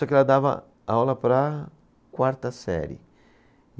Só que ela dava aula para a quarta série.